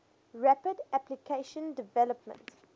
rapid application development